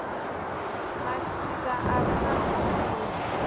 mashika a re na zwitshili